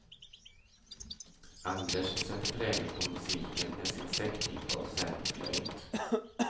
Anders sätter prägel på musiken med sin säckpipa och sälgflöjt.